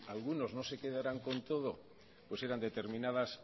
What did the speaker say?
algunos no se quedaran con todo pues eran determinadas